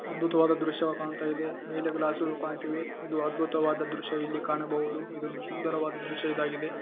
ಅದ್ಭುತವಾದ ದೃಶ್ಯವು ಕಾಣ್ತಾ ಇದೆ ಮೇಲ್ಗಡೆ ಗ್ಲಾಸ್ ಗಳು ಕಾಣ್ತಾ ಇವೆ ಇದು ಅದ್ಭುತವಾದ ದೃಶ್ಯ ಇಲ್ಲಿ ಕಾಣಬಹುದು ಇದು ಸುಂದರವಾದ ಒಂದು ದೃಶ್ಯಇದಾಗಿದೆ.